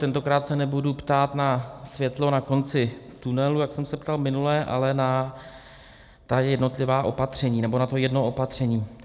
Tentokrát se nebudu ptát na světlo na konci tunelu, jak jsem se ptal minule, ale na ta jednotlivá opatření nebo na to jedno opatření.